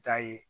Jaa ye